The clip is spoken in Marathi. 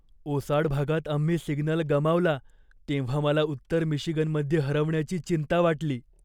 ओसाड भागात आम्ही सिग्नल गमावला तेव्हा मला उत्तर मिशिगनमध्ये हरवण्याची चिंता वाटली.